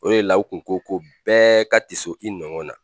O le la o kun ko ko bɛɛ ka tiso i nɔgɔn na.